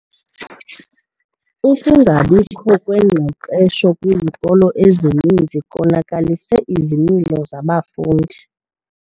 Ukungabikho kwengqeqesho kwizikolo ezininzi konakalise izimilo zabafundi.